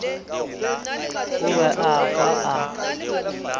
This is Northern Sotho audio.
o be a kwa a